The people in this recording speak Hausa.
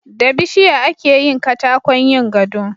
Da bishiya akeyin katakon yin gado